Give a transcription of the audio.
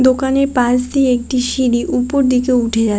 দোকানের পাশ দিয়ে একটি সিঁড়ি ওপর দিকে উঠে যাচ্ছে।